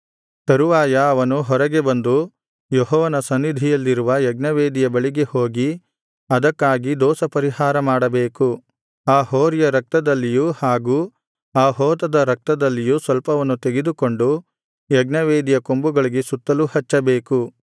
ತರುವಾಯ ಅವನು ಹೊರಗೆ ಬಂದು ಯೆಹೋವನ ಸನ್ನಿಧಿಯಲ್ಲಿರುವ ಯಜ್ಞವೇದಿಯ ಬಳಿಗೆ ಹೋಗಿ ಅದಕ್ಕಾಗಿ ದೋಷಪರಿಹಾರ ಮಾಡಬೇಕು ಆ ಹೋರಿಯ ರಕ್ತದಲ್ಲಿಯೂ ಹಾಗೂ ಆ ಹೋತದ ರಕ್ತದಲ್ಲಿಯೂ ಸ್ವಲ್ಪವನ್ನು ತೆಗೆದುಕೊಂಡು ಯಜ್ಞವೇದಿಯ ಕೊಂಬುಗಳಿಗೆ ಸುತ್ತಲೂ ಹಚ್ಚಬೇಕು